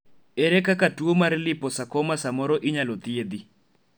ere kaka tuo mar liposarcoma samoro inyalo thiedhi?